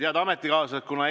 Head ametikaaslased!